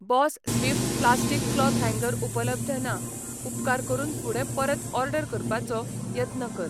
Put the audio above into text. Boss Swift plastic cloth हँगर उपलब्ध ना, उपकार करून फुडें परत ऑर्डर करपाचो यत्न कर.